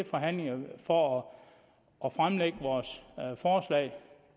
forhandlinger for at fremlægge vores forslag